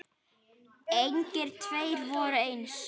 Engir tveir voru eins.